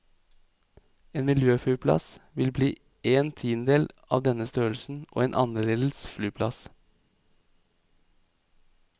En miljøflyplass vil bli én tiendedel av denne størrelsen, og en annerledes flyplass.